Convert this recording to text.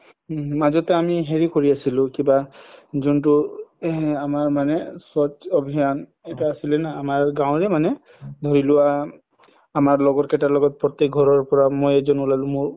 মাজতে আমি হেৰি কৰি আছিলো কিবা যোনতো এহ আমাৰ মানে স্ৱাচ অভিয়ান এটা আছিলে না আমাৰ গাৱৰে মানে ধৰি লোৱা আমাৰ লগৰ কেইটাৰ লগত প্ৰতেক ঘৰৰ পৰা মই এজন ওলাও মোৰ